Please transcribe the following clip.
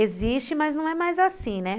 Existe, mas não é mais assim, né?